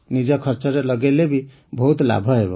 ନିଜ ଖର୍ଚ୍ଚରେ ଲଗେଇଲେ ବି ବହୁତ ଲାଭ ହେବ